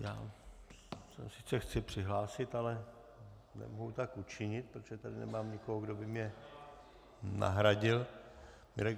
Já se sice chci přihlásit, ale nemohu tak učinit, protože tady nemám nikoho, kdo by mě nahradil.